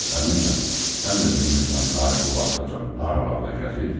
Əminə, sən də bilmirsən Tahir bu vaxtacan haralarda gəzir?